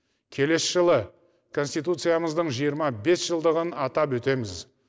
келесі жылы конституциямыздың жиырма бес жылдығын атап өтеміз